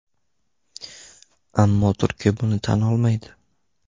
Ammo Turkiya buni tan olmaydi.